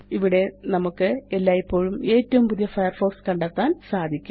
ഇവിടെ നമുക്ക് എല്ലായ്പ്പോഴും ഏറ്റവും പുതിയ ഫയർഫോക്സ് കണ്ടെത്താന് സാധിക്കും